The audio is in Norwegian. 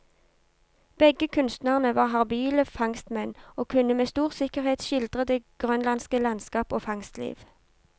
Begge kunstnerne var habile fangstmenn, og kunne med stor sikkerhet skildre det grønlandske landskap og fangstliv.